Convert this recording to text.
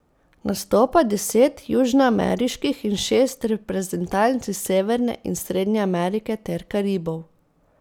Nastopa deset južnoameriških in šest reprezentanc iz Severne in Srednje Amerike ter Karibov.